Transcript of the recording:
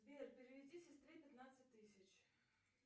сбер переведи сестре пятнадцать тысяч